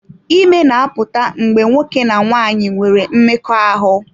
Ime na-apụta mgbe nwoke na nwanyị nwere mmekọahụ.